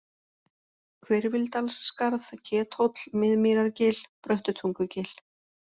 Hvirfildalsskarð, Kethóll, Miðmýrargil, Bröttutungugil